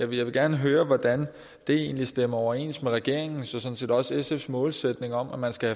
vil gerne høre hvordan det egentlig stemmer overens med regeringens og sådan set også sfs målsætning om at man skal